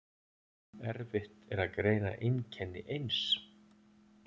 Erfitt er að greina einkenni eins